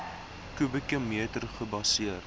kubieke meter gebaseer